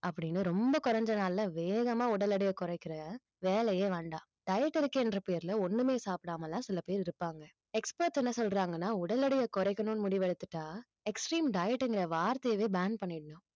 அப்படின்னு ரொம்ப குறைஞ்ச நாள்ல வேகமா உடல் எடையை குறைக்கிற வேலையே வேண்டாம் diet இருக்கேன்ற பேருலே ஒண்ணுமே சாப்பிடாம எல்லாம் சில பேர் இருப்பாங்க expert என்ன சொல்றாங்கன்னா உடல் எடையை குறைக்கணும்னு முடிவு எடுத்துட்டா extreme diet ங்கிற வார்த்தையைவே ban பண்ணிரனும்